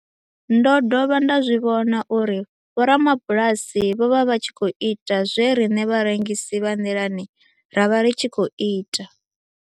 Ndo dovha nda zwi vhona uri vhorabulasi vho vha vha tshi khou ita zwe riṋe vharengisi vha nḓilani ra vha ri tshi khou ita